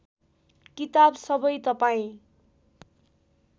किताब सबै तपाईँ